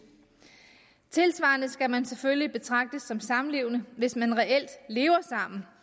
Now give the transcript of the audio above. tilsvarende skal man selvfølgelig betragtes som samlevende hvis man reelt lever sammen